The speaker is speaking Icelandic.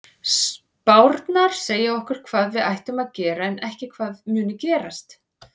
Spárnar segja okkur hvað við ættum að gera en ekki hvað muni gerast.